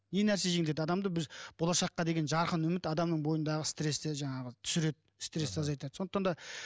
не нәрсе жеңілдетеді адамды біз болашаққа деген жарқын үміт адамның бойындағы стресті жаңағы түсіреді стресті азайтады сондықтан да